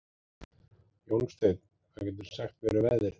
Jónsteinn, hvað geturðu sagt mér um veðrið?